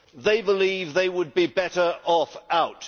They believe they would be better off out.